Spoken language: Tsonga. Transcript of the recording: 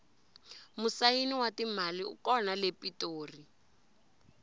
musayini wa timali u kona le pitori